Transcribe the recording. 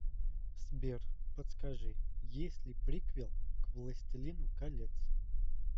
сбер подскажи есть ли приквел к властелину колец